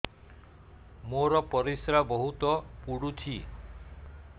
ମୋର ପରିସ୍ରା ବହୁତ ପୁଡୁଚି